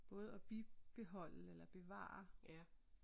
Både at bibeholde eller bevare